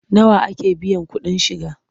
Nawa ake biyan kuɗin shiga?